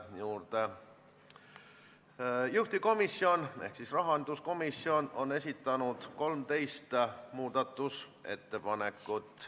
Muudatusettepanekud nr 3, 4 ja 5 muudavad seaduseelnõu keeleliselt selgemaks ning täpsustavad jõustumissätteid.